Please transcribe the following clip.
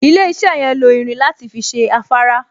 Ilé-iṣẹ́ yẹn lo irin láti fi ṣe afárá